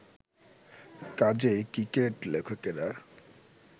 কাজেই ক্রিকেট-লেখকেরা